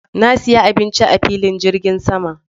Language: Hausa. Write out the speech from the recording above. Na siya abinci a filin jirgin sama